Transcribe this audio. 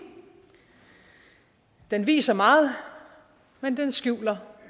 den viser meget men skjuler